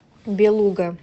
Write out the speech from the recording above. белуга